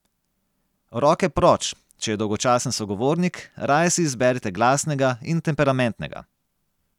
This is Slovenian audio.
Roke proč, če je dolgočasen sogovornik, raje si izberite glasnega in temperamentnega.